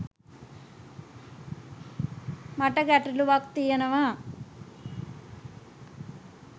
මට ගැටළුවක් තියෙනවා.